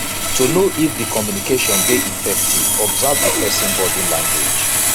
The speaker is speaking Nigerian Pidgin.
to know if di communication di effective observe di persin body language